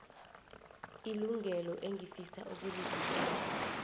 ilungelo engifisa ukulivikela